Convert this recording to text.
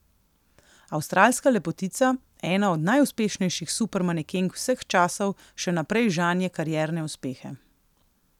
Avstralska lepotica, ena od najuspešnejših supermanekenk vseh časov, še naprej žanje karierne uspehe.